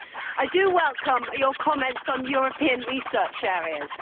I welcome your comments on European research areas.